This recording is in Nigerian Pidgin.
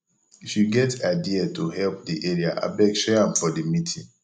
if you get idea to help the area abeg share am for the meeting